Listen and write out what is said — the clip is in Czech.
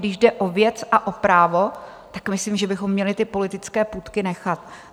Když jde o věc a o právo, tak myslím, že bychom měli ty politické půtky nechat.